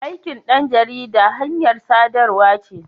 Aikin ɗan jarida hanyar sadarwa ce.